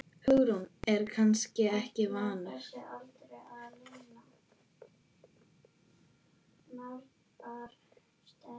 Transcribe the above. Hugrún: Er hann kannski vanur?